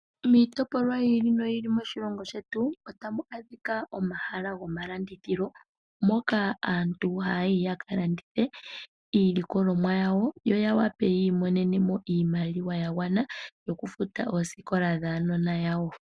Miitopolwa yi ili noyi ili moshilongo shetu otamu adhika omahala gomalandithilo. Moka aantu haya yi ya ka landithe iilikolomwa yawo yo ya wape yi imonene mo iimaliwa ya gwana yokufuta oosikola dhaanona yawo.